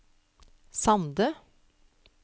Sande